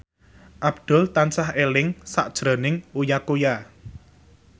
Abdul tansah eling sakjroning Uya Kuya